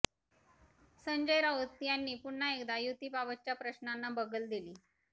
संजय राऊत यांनी पुन्हा एकदा युतीबाबतच्या प्रश्नांना बगल दिली